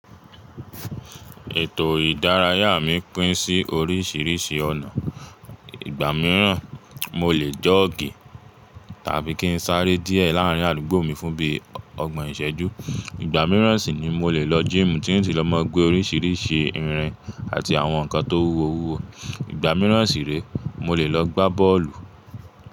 Ètò ìdárayá mi pín sí oríṣiríṣi ọ̀nà. Ìgbà mìíràn mo lè jọ́ọ̀gì tàbí kí n sáré díẹ̀ láàrín àdúgbò mi fún bí i ọgbọ̀n ìṣẹ́jú. Ìgbà mìíràn sì ni mo lè lọ gym tí n sì lọ́ mọ́ gbé oríṣiríṣi irin àti àwọn nǹkan tó wúwo wúwo. Ìgbà mìíràn sì rè mo lè lọ gbá bọ́ọ̀lù.